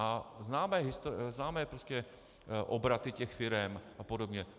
A známe prostě obraty těch firem a podobně.